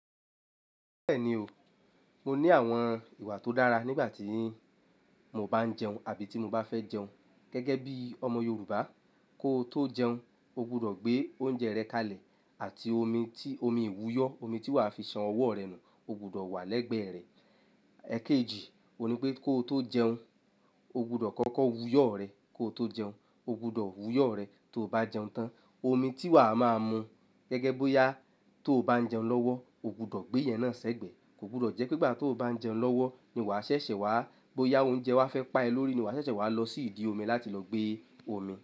Bẹ́ẹ̀ni o, mo ní àwọn ìwà tó dára nígbà tí mo bá ń jẹun àbí tí mo bá fẹ́ jẹun. Gẹ́gẹ́ bí ọmọ Yorùbá, kó tó jẹun, o gbọdọ̀ gbé oúnjẹ rẹ kalẹ̀ àti omi, omi ìwúyọ̀, omi tí wàá fi san ọwọ́ rẹ nù, o gbọdọ̀ wà lẹ́gbẹ̀ẹ́ rẹ. Ẹ̀keji, òun ní pé kó tó jẹun, o gbọdọ̀ kọ́kọ́ wuyọ rẹ kí o tó jẹun. O gbọdọ̀ wuyọ́ rẹ tí o bá jẹun tán. Omi tí wàá máa mu gẹ́gẹ́ bóyá tó bá ń jẹun lọ́wọ́, o gbọdọ̀ gbé yẹn náà ṣẹ́gbẹ̀ẹ́. Kò gbọdọ̀ jẹ́ pé igbà tí o bá ń jẹun lọ́wọ́ ni wà a ṣẹ̀ṣẹ̀ wàá, bóyá oúnjẹ wà á fẹ́ pa ẹ lórí ni wà a ṣẹ̀ṣẹ̀ wà á lọ sí ìdí omi láti lọ gbé omi.